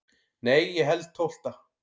Nei ég held tólfta.